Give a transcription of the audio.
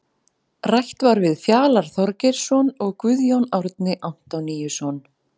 Rætt var við Fjalar Þorgeirsson og Guðjón Árni Antoníusson.